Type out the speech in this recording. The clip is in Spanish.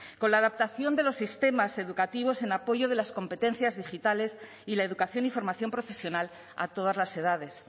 con la adaptación de los sistemas educativos en apoyo de las competencias digitales y la educación y formación profesional a todas las edades